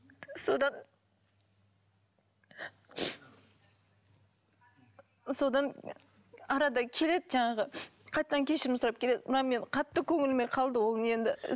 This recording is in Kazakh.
содан содан арада келеді жаңағы қайтадан кешірім сұрап келеді мына мен қатты көңіліме қалды ол не